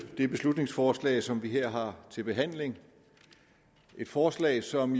det beslutningsforslag som vi her har til behandling et forslag som